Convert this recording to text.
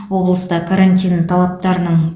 облыста карантин талаптарының